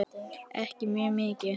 Ekki mjög mikið.